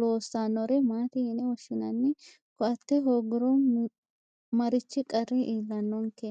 loossannore maate yine woshshinanni ko"atte hoogguro marichi qarri iillannonke